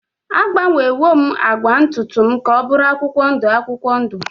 Agbanwewo m agba ntutu m ka ọ bụrụ akwụkwọ ndụ akwụkwọ ndụ.